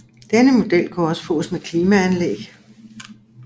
Denne model kunne også fås med klimaanlæg